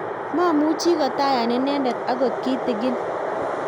mamuchi kotayan inendet akot kitegen